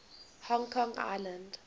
hong kong island